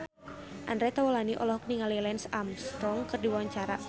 Andre Taulany olohok ningali Lance Armstrong keur diwawancara